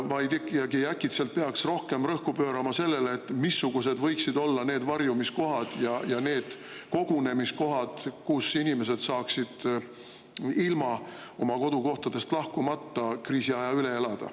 Äkki ikkagi peaks rohkem tähelepanu pöörama sellele, missugused võiksid olla need varjumiskohad ja need kogunemiskohad, kus inimesed saaksid ilma oma kodukohast lahkumata kriisiaja üle elada.